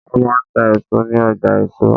Wọ́n máa ń ta èso ní ọjà èso.